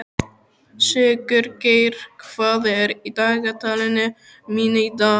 Sigurgeir, hvað er í dagatalinu mínu í dag?